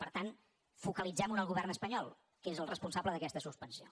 per tant focalitzemho en el govern espanyol que és el responsable d’aquesta suspensió